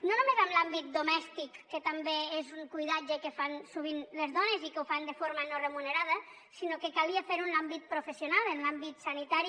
no només en l’àmbit domèstic que també és un cuidatge que fan sovint les dones i que ho fan de forma no remunerada sinó que calia fer ho en l’àmbit professional en l’àmbit sanitari